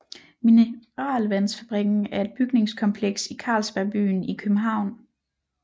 Mineralvandsfabrikken er et bygningskompleks i Carlsberg Byen i København